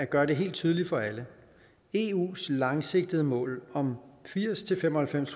gøre det helt tydeligt for alle eus langsigtede mål om firs til fem og halvfems